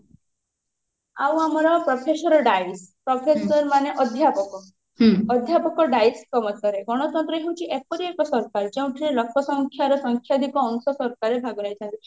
ଆଉ ଆମର professor Dicey professor ମାନେ ଅଧ୍ୟାପକ ଅଧ୍ୟାପକ ଡାଇସ ଙ୍କ ମତରେ ଗଣତନ୍ତ୍ର ହେଉଛି ଏପରି ଏକ ସରକାର ଯେଉଁଥିରେ ଲୋକ ସଂଖ୍ଯାର ସଂଖ୍ୟାଧିକ ଅଂଶ ସରକାର ରେ ଭାଗ ରହିଥାଏ